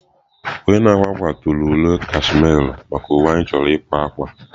Onye na-akwa akwa tụrụ aro cashmere maka uwe anyị chọrọ ịkwa akwa.